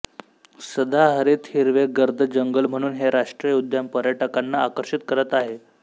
सदाहरित हिरवे गर्द जंगल म्हणून हे राष्ट्रीय उद्यान पर्यटकांना आकर्षित करत आहे